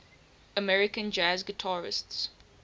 american jazz guitarists